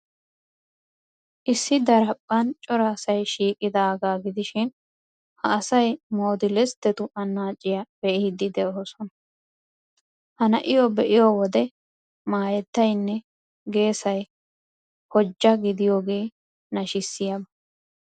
Issi daraphphan cora asay shiiqidaagaa gidishin ha asay modelisttetu annaaciyaa be'iiddi de'oosona. Ha na'iyoo be'iyo wode maayettaynne geesay hojja gidiyoogee nashissiyaba.